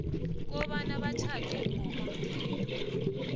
kobana batjhade ngokomthetho